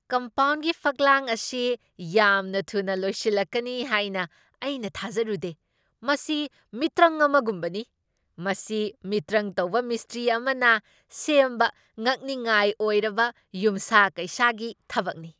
ꯀꯝꯄꯥꯎꯟꯒꯤ ꯐꯛꯂꯥꯡ ꯑꯁꯤ ꯌꯥꯝꯅ ꯊꯨꯅ ꯂꯣꯏꯁꯤꯜꯂꯛꯀꯅꯤ ꯍꯥꯏꯅ ꯑꯩꯅ ꯊꯥꯖꯔꯨꯗꯦ, ꯃꯁꯤ ꯃꯤꯇ꯭ꯔꯪ ꯑꯃꯒꯨꯝꯕꯅꯤ! ꯃꯁꯤ ꯃꯤꯇ꯭ꯔꯪ ꯇꯧꯕ ꯃꯤꯁꯇ꯭ꯔꯤ ꯑꯃꯅ ꯁꯦꯝꯕ ꯉꯛꯅꯤꯡꯉꯥꯏ ꯑꯣꯏꯔꯕ ꯌꯨꯝꯁꯥ ꯀꯩꯁꯥꯒꯤ ꯊꯕꯛꯅꯤ꯫